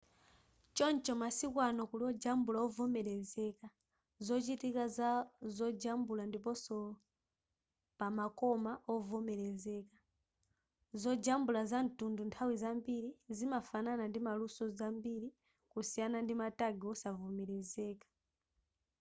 choncho masiku ano kuli ojambula ovomelezeka zochitika za zojambula ndiponso pamakoma ovomelezeka zojambula zamtunduwu nthawi zambiri zimafanana ndi maluso zambiri kusiyana ndi ma tag osavomelezeka